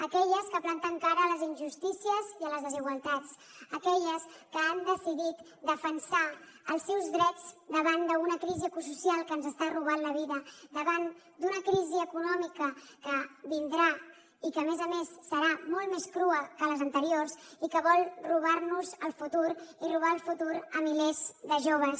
aquelles que planten cara a les injustícies i a les desigualtats aquelles que han decidit defensar els seus drets davant d’una crisi ecosocial que ens està robant la vida davant d’una crisi econòmica que vindrà i que a més a més serà molt més crua que les anteriors i que vol robar nos el futur i robar el futur a milers de joves